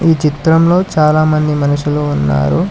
ఈ చిత్రంలో చాలామంది మనుషులు ఉన్నారు.